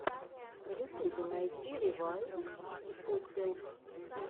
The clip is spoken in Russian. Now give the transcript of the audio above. в ютубе найти ревайвйоселф